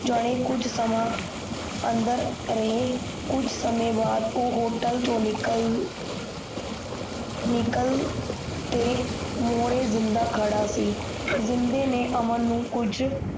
ਜਾਣੇ ਕੁਜ ਸਮਾਂ ਅੰਦਰ ਰਹੇ ਕੁਜ ਸਮੇ ਬਾਅਦ ਉਹ ਹੋਟਲ ਤੋਂ ਨਿਕਲ ਮੁੜੇ ਜਿੰਨਦਾ ਮੂਰੇ ਖੜ੍ਹਾ ਜਿੰਨਦੇ ਨੇ ਅਮਨ ਨੂੰ ਕੁਜ